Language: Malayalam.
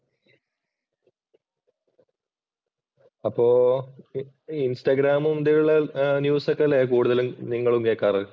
അപ്പോ ഈ ഇന്‍സ്റ്റാഗ്രാമിന്‍റെ ഉള്ളിലുള്ള ന്യൂസ് ഒക്കെ അല്ലേ കൂടുതലും നിങ്ങളും കേക്കാറ്.